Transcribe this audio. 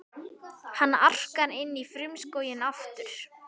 Hann arkar inn í frumskóginn aftur.